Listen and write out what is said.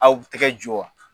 Aw tɛgɛ jo wa